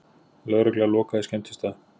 Lögregla lokaði skemmtistað